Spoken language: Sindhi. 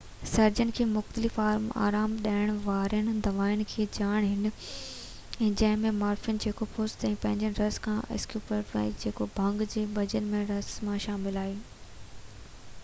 سرجنن کي مختلف آرام ڏيڻ وارين دوائن جي ڄاڻ هئي جنهن ۾ مارفين جيڪو پست جي ٻجن جي رس مان ۽ اسڪوپولامائين جيڪو ڀنگ جي ٻجن جي رس مان شامل آهن